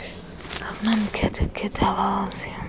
akunamkhethe kukhetha abawaziyo